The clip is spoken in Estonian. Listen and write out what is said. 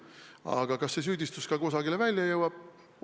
Aga kas see süüdistus ka kusagile välja jõuab?